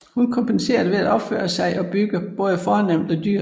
Hun kompenserede ved at opføre sig og bygge både fornemt og dyrt